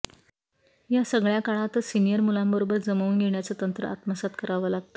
या सगळय़ा काळातच सीनियर मुलांबरोबर जमवून घेण्याचं तंत्र आत्मसात करावं लागतं